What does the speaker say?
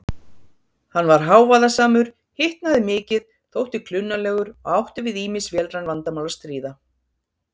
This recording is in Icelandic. Hann var hávaðasamur, hitnaði mikið, þótti klunnalegur og átti við ýmis vélræn vandamál að stríða.